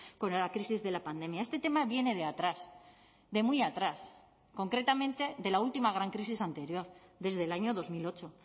con la crisis de la pandemia este tema viene de atrás de muy atrás concretamente de la última gran crisis anterior desde el año dos mil ocho